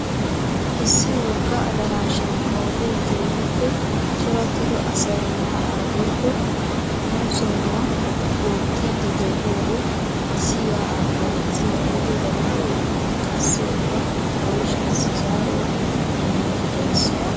Issi wogga adarashaan qooday keehiippe corattido asay yaa'a woykko konsonnuwaa oottidi de'iyode issi yaa'aa kalettiya huuphe gadawaay qassi eta oyshaassi zaaruwaa immidi dees.